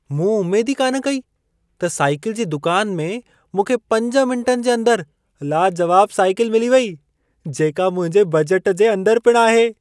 मूं उमेद ई कान कई त साइकल जी दुकान में मूंखे पंज मिंटनि जे अंदर लाजवाब साइकल मिली वेई, जेका मुंहिंजे बजट जे अंदर पिण आहे।